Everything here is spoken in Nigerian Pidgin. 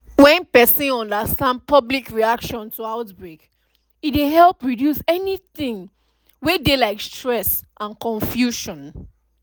when person understand public reaction to outbreak e dey help reduce anytin wey dey like stress and confusion